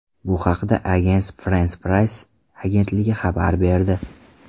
Bu haqda Agence France-Presse agentligi xabar berdi .